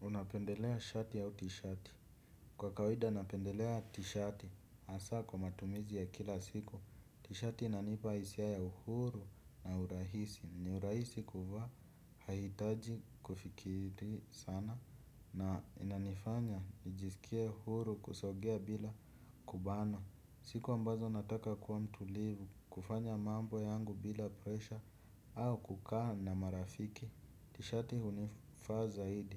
Unapendelea shati au tishati. Kwa kawaida napendelea t-shati hasa kwa matumizi ya kila siku, tishati inanipa hisia ya uhuru na urahisi. Ni urahisi kuvaa, haihitaji kufikiri sana na inanifanya nijisikia huru kusongea bila kubana. Siku ambazo nataka kuwa mtulivu kufanya mambo yangu bila pressure au kukaa na maarafiki. Tishati hunifaa zaidi.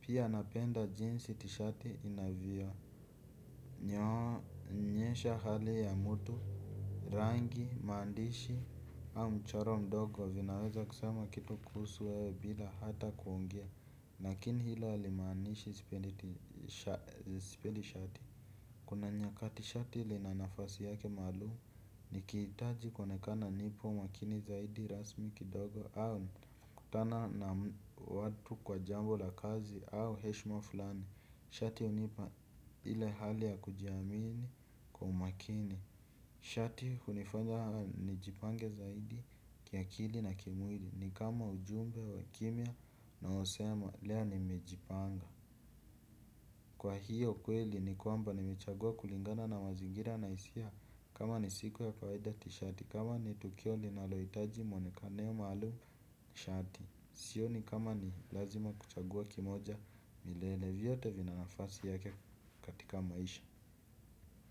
Pia napenda jinsi tishati inavyo. Onyesha hali ya mtu, rangi, maandishi au mchoro mdogo vinaweza kusema kitu kuhusu wewe bila hata kuongea. Lakini hilo halimaanishi sipendi shati. Kuna nyakati shati lina nafasi yake maalumu nikihitaji kuonekana nipo umakini zaidi rasmi kidogo au kutana na watu kwa jambo la kazi au heshima fulani. Shati hunipa ile hali ya kujiamini kwa umakini. Shati hunifanya nijipange sana kiakili na kimwili nikama ujumbe wa kimya unaosema leo nimejipanga kwa hio kweli ni kwamba nimechagua kulingana na mazingira na hisia kama ni siku ya kawaida tishati kama ni tukio linalohitaji muonekano maalum shati sioni kama ni lazima kuchagua kimoja milele vyote vina nafasi yake katika maisha.